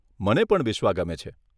મને પણ બિશ્વા ગમે છે.